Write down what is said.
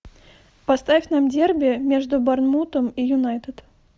поставь нам дерби между борнмутом и юнайтед